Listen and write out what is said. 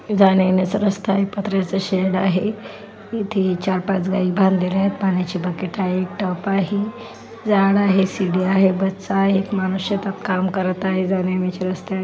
जाण्यायेण्याचा रस्ता आहे पत्र्याचं शेड आहे इथे चार पाच गायी बांधलेल्या आहेत पाण्याची बकेट आहे एक टप आहे झाड़ आहे सीडी आहे बसच आहे एक मनुष्य काम करत आहे जाण्यायेण्याचे रस्ते आहे.